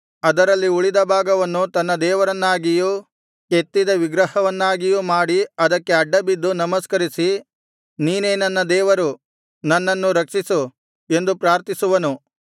ಅದರಲ್ಲಿ ಉಳಿದ ಭಾಗವನ್ನು ತನ್ನ ದೇವರನ್ನಾಗಿಯೂ ಕೆತ್ತಿದ ವಿಗ್ರಹವನ್ನಾಗಿಯೂ ಮಾಡಿ ಅದಕ್ಕೆ ಅಡ್ಡಬಿದ್ದು ನಮಸ್ಕರಿಸಿ ನೀನೇ ನನ್ನ ದೇವರು ನನ್ನನ್ನು ರಕ್ಷಿಸು ಎಂದು ಪ್ರಾರ್ಥಿಸುವನು